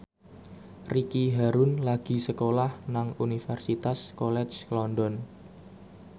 Ricky Harun lagi sekolah nang Universitas College London